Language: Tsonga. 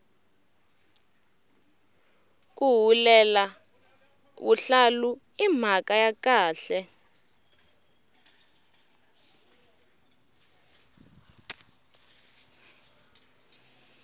ku hulela vuhlalu i mhaka ya khale